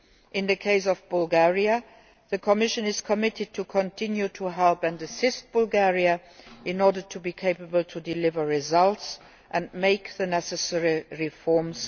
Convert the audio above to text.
In the case of Bulgaria, the Commission is committed to continue to help and assist Bulgaria in order to help deliver the results and make the necessary reforms.